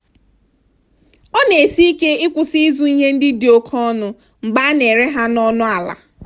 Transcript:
ọ na-esi ike ịkwụsị ịzụ ihe ndị dị oke ọnụ mgbe a na-ere ha n'ọnụ ala.